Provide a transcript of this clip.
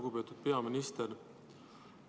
Lugupeetud peaminister!